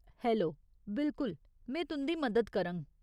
Hello, बिलकुल, में तुं'दी मदद करङ।